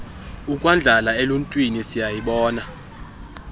ukuyandlala eluuntwini siyazibona